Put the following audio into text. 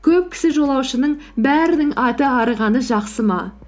көп кісі жолаушының бәрінің аты арығаны жақсы ма